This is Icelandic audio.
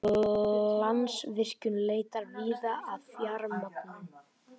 Landsvirkjun leitar víða að fjármögnun